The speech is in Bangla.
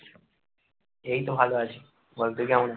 এইতো ভালো আছি, বল তুই কেমন আছিস?